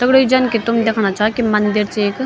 दगड़ियों जन कि तुम देखणा छां कि मंदिर च ऐक।